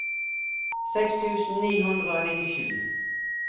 seks tusen ni hundre og nittisju